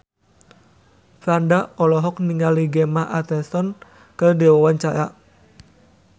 Franda olohok ningali Gemma Arterton keur diwawancara